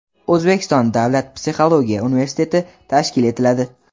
O‘zbekiston davlat psixologiya universiteti tashkil etiladi.